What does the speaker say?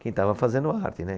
Quem estava fazendo arte, né?